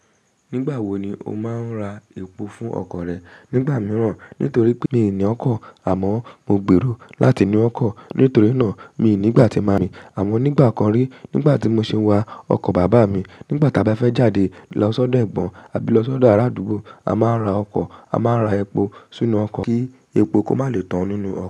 Nígbà wo ni o máa ń ra epo fún ọkọ̀ rẹ? Nígbà mìíràn nítorí pé mi ni ọkọ̀, àmọ́ mo gbèrò láti ní ọkọ̀. Nítorí náà, mi ní ìgbà tí màá rìn àmọ́ nígbà kan rí nígbà tí mo ṣi n wà ọkọ bàbá mi. Nígbà tí a bá fẹ́ jáde lọ sọ́dọ̀ Ẹ̀gbọ́n àbí lọ sọ́dọ̀ arádúgbò, a máa ń ra ọkọ̀, a máa n ra epo sínú ọkọ̀ kí epo kó má lè tán nínú ọkọ̀